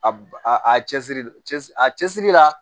A b a a cɛsiri cɛsiri a cɛsiri la